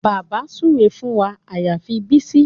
Bàbá súre fún wa àyàfi Bísí